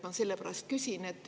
Ma sellepärast küsin.